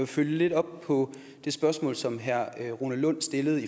følge lidt op på det spørgsmål som herre rune lund stillede